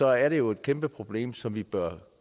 er det jo et kæmpeproblem som vi bør